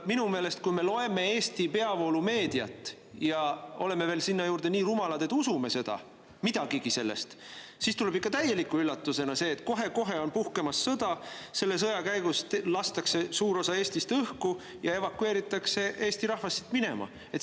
Minu meelest, kui me loeme Eesti peavoolumeediat ja oleme veel sinna juurde nii rumalad, et usume seda, midagigi sellest, siis tuleb ikka täieliku üllatusena see, et kohe-kohe on puhkemas sõda, selle sõja käigus lastakse suur osa Eestist õhku ja evakueeritakse Eesti rahvas siit minema.